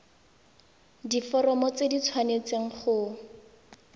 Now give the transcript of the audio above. diforomo tse di tshwanesteng go